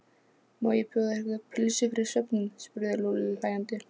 Má ekki bjóða ykkur pylsu fyrir svefninn? spurði Lúlli hlæjandi.